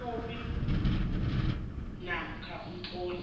ikhophi namkha umtlolo